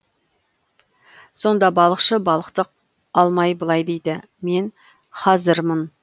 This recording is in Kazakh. сонда балықшы балықты алмай былай дейді мен хазырмын